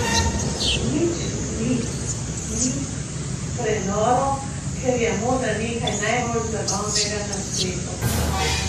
Nič mi ni prenoro, ker je moda nekaj najbolj zabavnega na svetu.